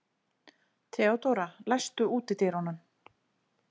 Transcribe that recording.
Mildríður, manstu hvað verslunin hét sem við fórum í á laugardaginn?